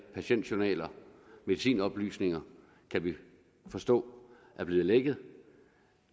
patientjournaler og medicinoplysninger kan vi forstå er blevet lækket